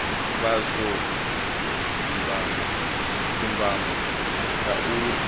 vha zwo dzumbama nga uri